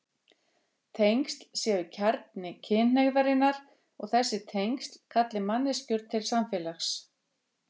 Tengsl séu kjarni kynhneigðarinnar og þessi tengsl kalli manneskjur til samfélags.